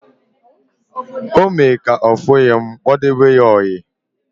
O mee ka ofughi m, m kpodebe ya oyi